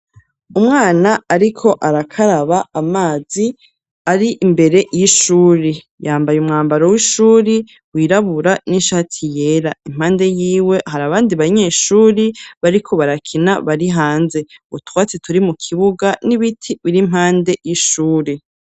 Umwana ariko arakaraba, amazi ari imbere y'ishuri; yambaye umwambaro w'ishuri wirabura n'ishati yera; impande yiwe hari abandi banyeshuri bariko barakina, bari hanze, utwatsi turi mu kibuga n'ibiti biri impande y'ishuri.